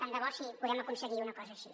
tant de bo si podem aconseguir una cosa així